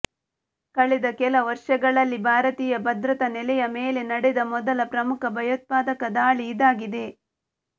ಕಳೆದ ಕೆಲ ವರ್ಷಗಳಲ್ಲಿ ಭಾರತೀಂುು ಭದ್ರತಾ ನೆಲೆಂುು ಮೇಲೆ ನಡೆದ ಮೊದಲ ಪ್ರಮುಖ ಭಂುೋತ್ಪಾದಕ ದಾಳಿ ಇದಾಗಿದೆ